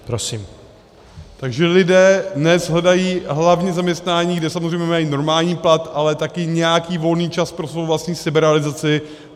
Takže lidé dnes hledají hlavně zaměstnání, kde samozřejmě mají normální plat, ale také nějaký volný čas pro svou vlastní seberealizaci.